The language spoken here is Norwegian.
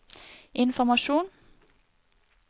informasjon